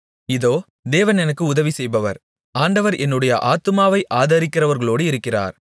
இதோ தேவன் எனக்கு உதவி செய்பவர் ஆண்டவர் என்னுடைய ஆத்துமாவை ஆதரிக்கிறவர்களோடு இருக்கிறார்